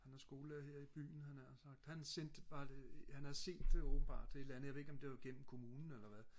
han er skolelærer her i byen havde jeg nær sagt han sendte mig det han havde set det åbenbart et eller andet jeg ved ikke om det var gennem kommunen eller hvad